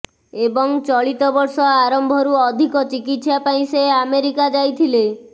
ଏବଂ ଚଳିତ ବର୍ଷ ଆରମ୍ଭରୁ ଅଧିକ ଚିକିତ୍ସା ପାଇଁ ସେ ଆମେରିକା ଯାଇଥିଲେ